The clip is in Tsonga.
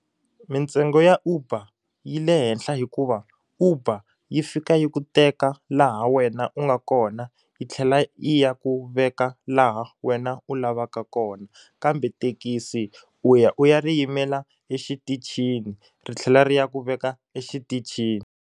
Mintsengo ya Uber yi le henhla hikuva uber yi fika yi ku teka laha wena u nga kona yi tlhela yi ya ku veka laha wena u lavaka kona kambe thekisi u ya u ya ri yimela exitichini ri tlhela ri ya ku veka exitichini.